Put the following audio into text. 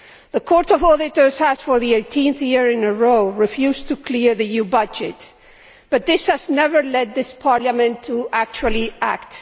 The Court of Auditors has, for the 18th year in a row, refused to clear the EU budget, but this has never led this Parliament to actually act.